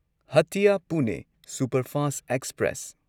ꯍꯇꯤꯌꯥ ꯄꯨꯅꯦ superfast express